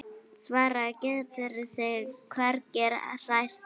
Svartur getur sig hvergi hrært.